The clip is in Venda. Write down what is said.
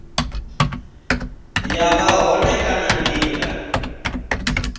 ya vha hone kana nila